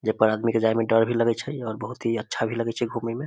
जेई पर आदमी के जाय में डर भी लगे छै और बहुत ही अच्छा भी लगे छै घूमे में।